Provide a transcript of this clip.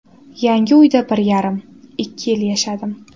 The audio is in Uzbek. Yangi uyda bir yarim, ikki yil yashadim.